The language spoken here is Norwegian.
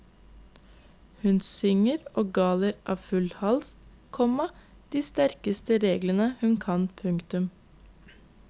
Hun synger og galer av full hals, komma de sterkeste reglene hun kan. punktum